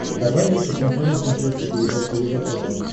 давай я посмотрю на смотрешке передачу егэ тв